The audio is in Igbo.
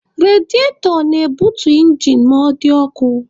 Rediatọ na-ebutu injin ma ọ dị ọkụ.